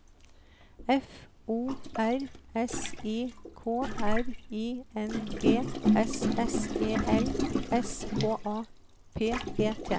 F O R S I K R I N G S S E L S K A P E T